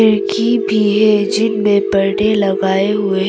खिड़की भी है जिनमे पर पर्दे लगाए हुए हैं।